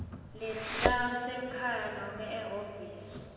letasekhaya nobe ehhovisi